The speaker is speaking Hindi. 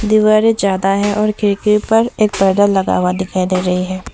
दीवारे जादा है और खिड़की पर एक पर्दा लगा हुआ दिखाई दे रही है।